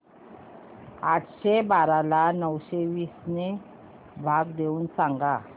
आठशे बारा ला नऊशे वीस ने भाग देऊन सांग